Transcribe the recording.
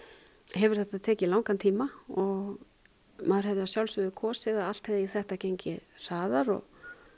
hefur þetta tekið langan tíma og maður hefði að sjálfsögðu kosið að allt hefði þetta gengið hraðar og